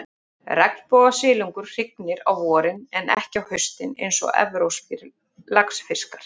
Regnbogasilungur hrygnir á vorin, en ekki á haustin eins og evrópskir laxfiskar.